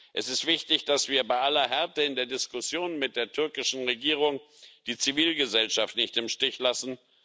Es ist wichtig, dass wir bei aller Härte in der Diskussion mit der türkischen Regierung die Zivilgesellschaft nicht im Stich lassen.